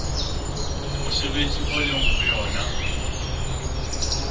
mosebetsi o leng ho wona